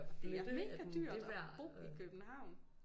Og det er mega dyrt at bo i København